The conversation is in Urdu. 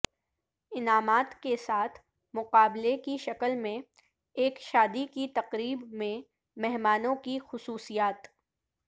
انعامات کے ساتھ مقابلہ کی شکل میں ایک شادی کی تقریب میں مہمانوں کی خصوصیات